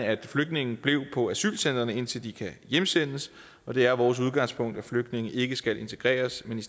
at flygtninge bliver på asylcentrene indtil de kan hjemsendes og det er vores udgangspunkt at flygtninge ikke skal integreres men